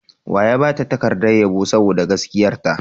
Wa ya ba ta takardar yabo sboda gaskiyarta?